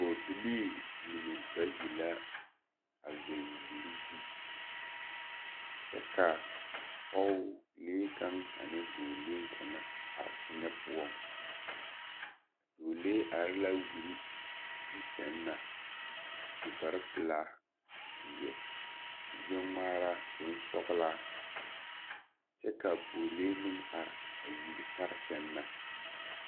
Pɔɡebilii mine bayi la a zeŋ wiri zu kyɛ ka pɔɡelee kaŋa ane dɔɔlee kaŋa are teŋɛ poɔŋ a dɔɔlee are la wiri zu sɛŋ na a su kparpelaa a seɛ kurɡbɛŋmaara bonsɔɡelaa kyɛ ka a pɔɡelee meŋ are a wiri pare sɛŋ na.